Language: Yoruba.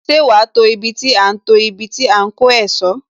Ṣé wá to ibi tí a ń to ibi tí a ń kó ẹ̀sọ́?